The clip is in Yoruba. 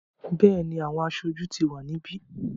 Bẹ́ẹ̀ni, àwọn aṣojú ti wà níbí.